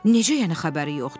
Necə yəni xəbəri yoxdur?